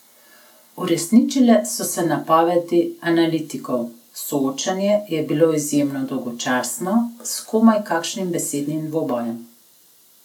Uresničile so se napovedi analitikov: 'soočenje' je bilo izjemno dolgočasno, s komaj kakšnim besednim dvobojem.